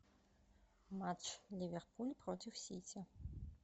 матч ливерпуль против сити